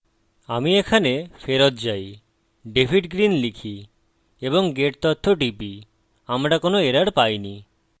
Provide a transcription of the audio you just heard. আমি এখানে ফেরত যাই david green লিখি এবং গেট তথ্য টিপি আমরা কোনো এরর পাইনি